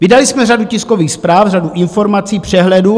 Vydali jsme řadu tiskových zpráv, řadu informací, přehledů.